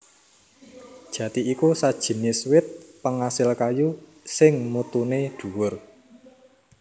Jati iku sajinis wit pengasil kayu sing mutuné dhuwur